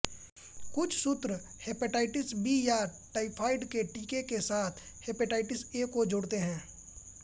कुछ सूत्र hepatitis B या टाइफाइड के टीके के साथ हेपेटाइटिस ए को जोड़ते हैं